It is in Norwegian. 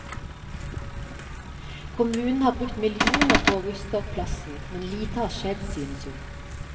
Kommunen har brukt millioner på å ruste opp plassen, men lite har skjedd, synes hun.